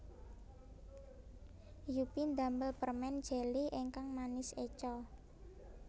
Yuppy ndamel permen jeli ingkang manis eco